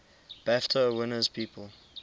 bafta winners people